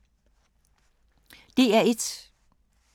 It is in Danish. DR1